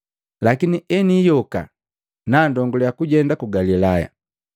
Lakini eniiyoka, nandonguliya kujenda ku Galilaya.”